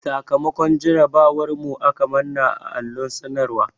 Sakamakon jarabawar mu aka manna a allon sanarwan.